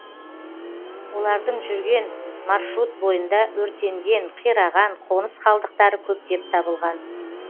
олардың жүрген маршрут бойында өртенген қираған қоныс қалдықтары көптеп табылған